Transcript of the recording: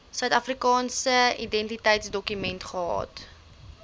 suidafrikaanse identiteitsdokument gehad